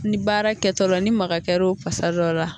Ni baara kɛtɔla ni maga kɛra o kasa dɔ la